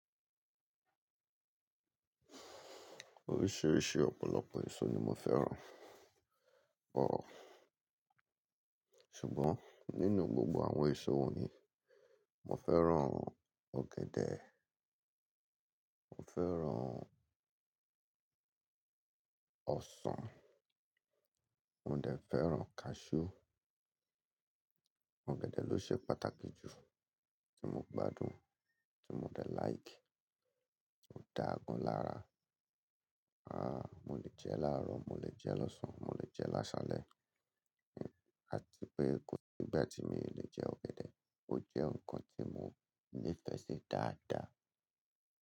Oríṣìíríṣìí ọ̀pọ̀lọpọ̀ èso ni mo fẹ́ràn, but, ṣùgbọ́n nínú gbogbo àwọn èso wọ̀nyí, mo fẹ́ràn ọ̀gẹ̀dẹ̀, mo fẹ́ràn ọsàn, mo dẹ̀ fẹ́ràn cashew. Ọ̀gẹ̀dẹ̀ ló ṣe pàtàkì jù tí mo gbádùn, tí mo dẹ̀ like, ó dà gan lára. Mo le jẹ́ láàrọ̀, mo le jẹ́ lọ́sàn-án, mo le jẹ́ lásálẹ̀, àti pé kò sí ìgbà tí mi i lè jẹ́ ọ̀gẹ̀dẹ̀. Ó jẹ́ nǹkan tí mo nífẹ̀ẹ́ sí dáadáa.